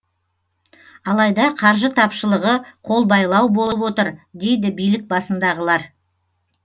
алайда қаржы тапшылығы қолбайлау болып отыр дейді билік басындағылар